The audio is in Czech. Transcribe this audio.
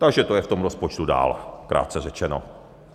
Takže to je v tom rozpočtu dál, krátce řečeno.